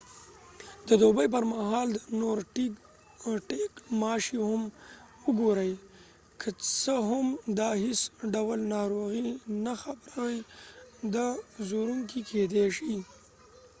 د دوبي پرمهال د نورډیک ماشي هم وګورئ که څه هم دا هیڅ ډول ناروغي نه خپروي دا ځورونکي کیدی شي